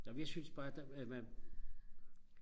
nå men jeg synes bare der at man